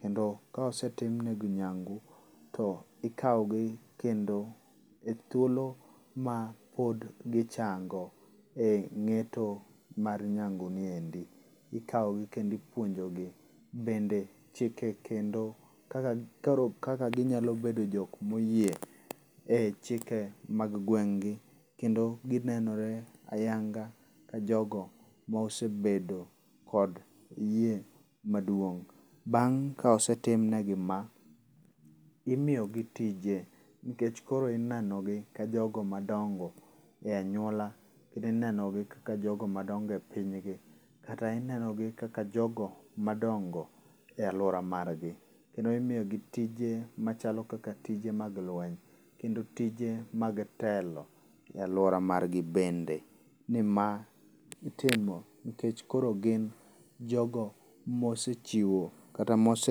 Kendo ka osentimnegi nyangu, ikaw gi kendo ethuolo ma pod gichango e ng'eto mar nyangu niendi ikawgi kendo ipuonjo gi. Bende chike kendo kaka koro kaka ginyalo bedo jok mo yie e chike mag gweng' gi kendo ginenore ayanga ka jogo mosebedo kod yie maduong'. Bang' kosetimnegi ma, imiyogi tije nikech koro ineno gi ka jogo madongo e anyuola. Ineno gi kaka jogo madongo e piny gi. Kata inenogi kaka jogo madongo e aluora mar gi kendo imiyo gi tije machalo kaka tije mag lweny. Kendo tije mag telo e aluara mag gi bende. Ni ma itimo nikech koro gin jogo mosechiwo kata mose...